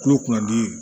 Kulo kun ka di